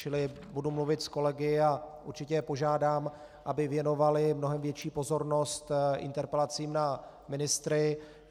Čili budu mluvit s kolegy a určitě je požádám, aby věnovali mnohem větší pozornost interpelacím na ministry.